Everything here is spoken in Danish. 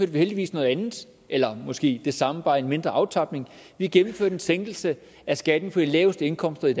vi heldigvis noget andet eller måske det samme bare i et mindre omfang vi gennemførte en sænkelse af skatten på de laveste indkomster i